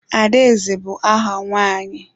Adaeze bụ áhà nwaanyị.